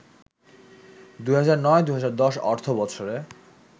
২০০৯-২০১০ অর্থবছরে